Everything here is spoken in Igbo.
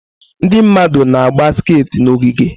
Ndị mmadụ na-agba skati n'ogige.